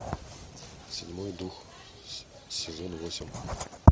седьмой дух сезон восемь